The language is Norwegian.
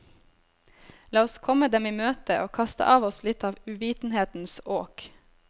La oss komme dem i møte og kaste av oss litt av uvitenhetens åk.